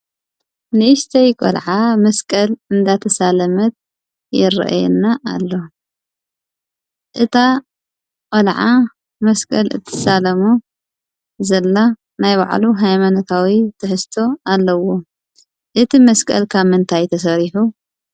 ንእሽተይ ቆልዓ መስቀል እንዳተሳለመት ይረአየና አሎ። እታ ቆልዓ መስቀል እትሳለሞ ዘላ ናይ ባዕሉ ሃይማኖታዊ ትሕዝቶ ዘለዎ ። እቲ መስቀል ካብ ምንታይ ተሰሪሑ?